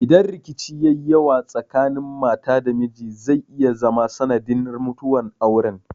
Idan rikici ya yi yawa tsakanin mata da miji zai iya zama sanadin mutuwar auren.